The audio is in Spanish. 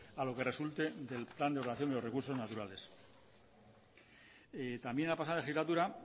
a lo que resulte del plan de ordenación de los recursos naturales también la pasado legislatura